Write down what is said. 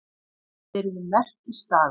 Það yrði merkisdagur.